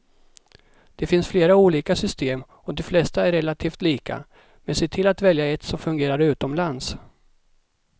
Det finns flera olika system och de flesta är relativt lika, men se till att välja ett som fungerar utomlands.